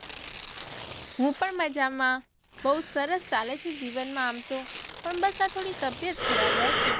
હું પણ મજામાં બઉ સરસ ચાલે છે જીવન માં આમ તો પણ બસ આ થોડી તબિયત ખરાબ રહે છે